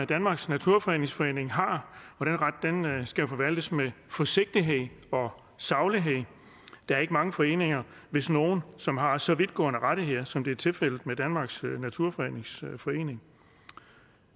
danmarks naturfredningsforening har og den ret skal forvaltes med forsigtighed og saglighed der er ikke mange foreninger hvis nogen som har så vidtgående rettigheder som det er tilfældet med danmarks naturfredningsforening